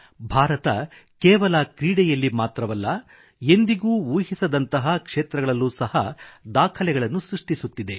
ಭಾರತ ಕೇವಲ ಕ್ರೀಡೆಯಲ್ಲಿ ಮಾತ್ರವಲ್ಲ ಎಂದಿಗೂ ಊಹಿಸದಂತಹ ಕ್ಷೇತ್ರಗಳಲ್ಲೂ ಸಹ ದಾಖಲೆಗಳನ್ನು ಸೃಷ್ಟಿಸುತ್ತಿದೆ